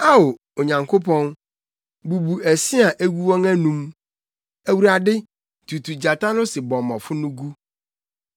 Ao Onyankopɔn, bubu ɛse a egu wɔn anom, Awurade, tutu gyata no sebɔmmɔfo no gu!